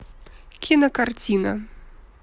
кинокартина